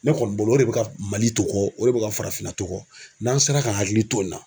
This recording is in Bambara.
Ne kɔni bolo o de bɛ ka Mali to kɔ o de bɛ ka farafinna to kɔ n'an sera ka hakili to nin na